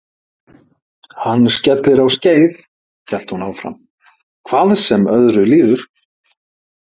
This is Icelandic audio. Hann skellir á skeið hélt hún áfram, hvað sem öðru líður.